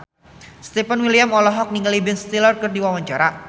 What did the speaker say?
Stefan William olohok ningali Ben Stiller keur diwawancara